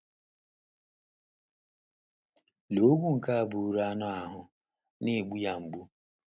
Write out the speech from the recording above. Lee ogwu nke a bụụrụ anụ ahụ́ na - egbu ya mgbu!